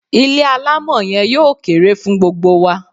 Ilé alámọ̀ yen yóò kere fun gbogbo wa